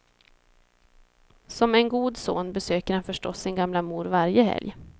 Som en god son besöker han förstås sin gamla mor varje helg.